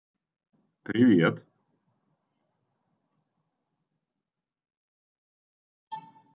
привет